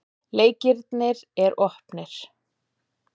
Leikirnir er opnir.